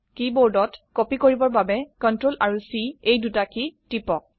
কীবোৰ্ডত কপি কৰিবৰ বাবে Ctrl আৰু C এই দুটা কী টিপক